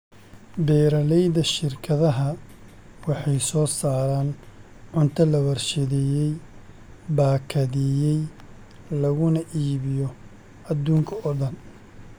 Beeralayda shirkadaha waxay soo saaraan cunto la warshadeeyay, baakadeeyay, laguna iibiyo adduunka oo dhan.